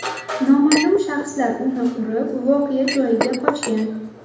Noma’lum shaxslar uni urib, voqea joyini qochgan.